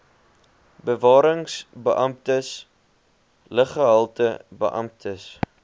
bewarings beamptes luggehaltebeamptes